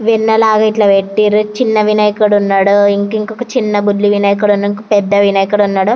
వెన్నలాగా ఇట్లా పెట్టినారు చిన్న వినాయకుడు ఉన్నాడు ఇంక ఇంకో బుల్లి వినాయకుడు ఉన్నాడు ఇంకో పెద్ద వినాయకుడు ఉన్నాడు--